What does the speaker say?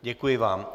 Děkuji vám.